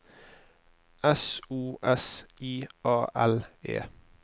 S O S I A L E